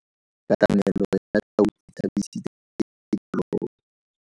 Katamelo ya tau e tshabisitse diphologolo.